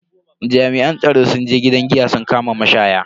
Jami'an tsaro sun je gidan giya sun kama mashaya.